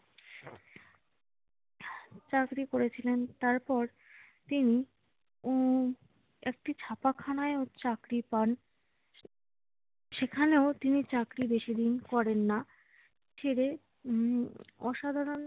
চাকরি করেছিলেন, তারপর তিনি উম একটি ছাপাখানায়ও চাকরি পান। সেখানেও তিনি চাকরি বেশিদিন করেন না। ছেড়ে উম অসাধারণ